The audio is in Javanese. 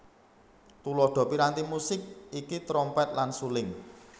Tuladha piranti musik iki trompet lan suling